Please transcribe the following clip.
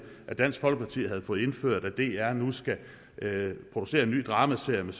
at dansk folkeparti havde fået indført at dr nu skal producere en ny dramaserie med